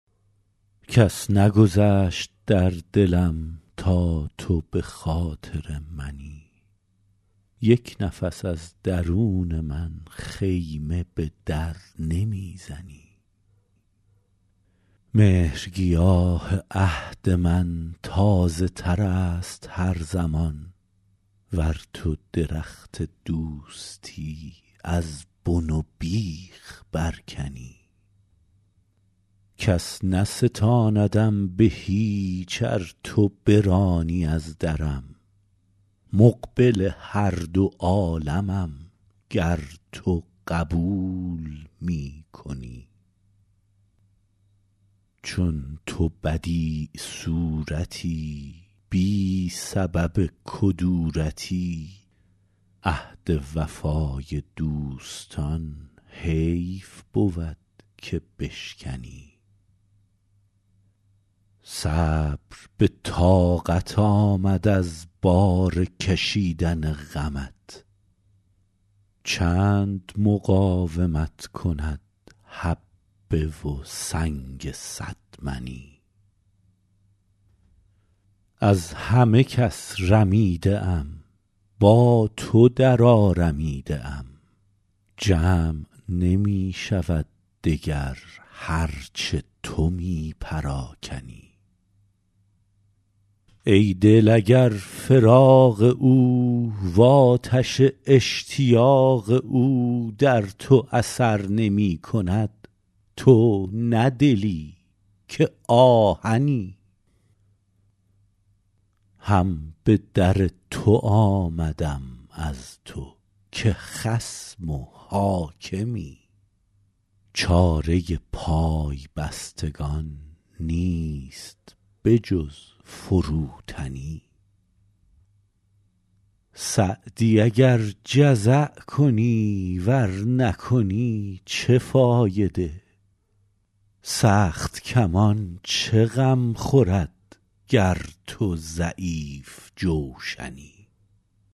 کس نگذشت در دلم تا تو به خاطر منی یک نفس از درون من خیمه به در نمی زنی مهرگیاه عهد من تازه تر است هر زمان ور تو درخت دوستی از بن و بیخ برکنی کس نستاندم به هیچ ار تو برانی از درم مقبل هر دو عالمم گر تو قبول می کنی چون تو بدیع صورتی بی سبب کدورتی عهد وفای دوستان حیف بود که بشکنی صبر به طاقت آمد از بار کشیدن غمت چند مقاومت کند حبه و سنگ صد منی از همه کس رمیده ام با تو درآرمیده ام جمع نمی شود دگر هر چه تو می پراکنی ای دل اگر فراق او وآتش اشتیاق او در تو اثر نمی کند تو نه دلی که آهنی هم به در تو آمدم از تو که خصم و حاکمی چاره پای بستگان نیست به جز فروتنی سعدی اگر جزع کنی ور نکنی چه فایده سخت کمان چه غم خورد گر تو ضعیف جوشنی